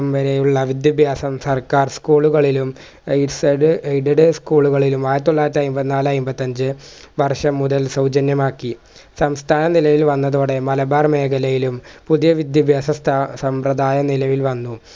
മ് വരെയുള്ള വിദ്യഭ്യാസം സർക്കാർ school കളിലും ഈ സ് അത് aided school കളിലും ആയിരത്തിതൊള്ളായിരത്തി അയിമ്പത്തിനാല് അയിമ്പത്തഞ്ച് വർഷം മുതൽ സൗജന്യമാക്കി സംസ്ഥാനം നിലവിൽ വന്നതോടെ മലബാർ മേഖലയിലും പുതിയ വിദ്യഭ്യാസ സ്ഥാ സമ്പ്രദായം നിലവിൽ വന്നു